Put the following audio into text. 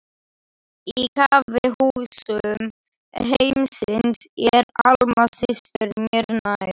Á kaffihúsum heimsins er Alma systir mér nær.